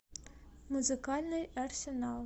музыкальный арсенал